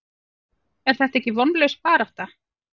Er þetta ekki vonlaus barátta?